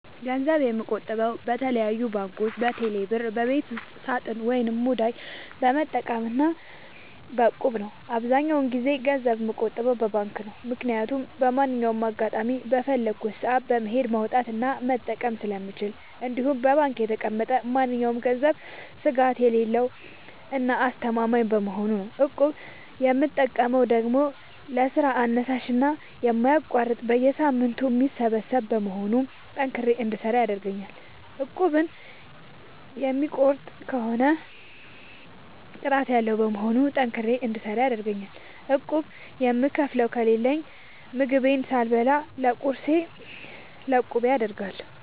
ገንዘብ የምቆጥበው በተለያዩ ባንኮች÷በቴሌ ብር ÷በቤት ውስጥ ሳጥን ወይም ሙዳይ በመጠቀም እና በ እቁብ ነው። አብዛኛውን ጊዜ ገንዘብ የምቆጥበው በባንክ ነው። ምክያቱም በማንኛውም አጋጣሚ በፈለኩት ሰአት በመሄድ ማውጣት እና መጠቀም ስለምችል እንዲሁም በባንክ የተቀመጠ ማንኛውም ገንዘብ ስጋት የሌለው እና አስተማማኝ በመሆኑ ነው። እቁብ የምጠቀመው ደግሞ ለስራ አነሳሽና የማይቋረጥ በየሳምንቱ የሚሰበሰብ በመሆኑ ጠንክሬ እንድሰራ ያደርገኛል። እቁቡን የሚቋርጥ ከሆነ ቅጣት ያለዉ በመሆኑ ጠንክሬ እንድሰራ ይረደኛል። ቁብ የምከፍለው ከሌለኝ ምግቤን ሳልበላ ለቁቤ አደርጋለሁ።